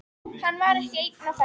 Hann var ekki einn á ferð.